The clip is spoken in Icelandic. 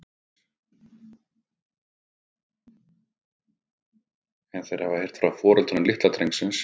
En hafa þeir heyrt frá foreldrum litla drengsins?